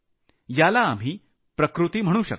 याला आम्ही प्रकृती म्हणू शकतो